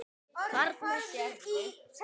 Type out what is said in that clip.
Þarna sérðu.